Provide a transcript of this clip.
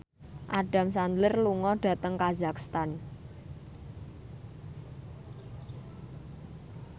Adam Sandler lunga dhateng kazakhstan